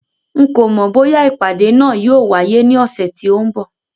N kò mọ̀ bóyá ìpàdé náà yóò wáyé ní ọ̀sẹ̀ tí ó ń bọ̀